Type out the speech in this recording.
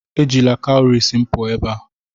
Ejila cowries m pụọ ebe a!